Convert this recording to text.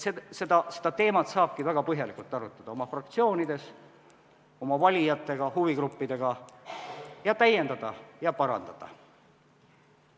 Nii et seda teemat saabki väga põhjalikult arutada fraktsioonides, valijatega, huvigruppidega ning dokumenti täiendada ja parandada.